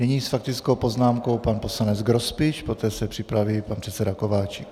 Nyní s faktickou poznámkou pan poslanec Grospič, poté se připraví pan předseda Kováčik.